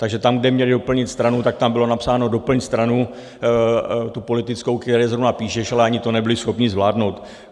Takže tam, kde měli doplnit stranu, tak tam bylo napsáno "doplň stranu, tu politickou, které zrovna píšeš", ale ani to nebyli schopni zvládnout.